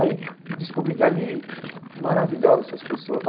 Aí descobri que ali, maravilhosas essas pessoas.